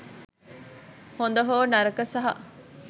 හොද හෝ නරක සහ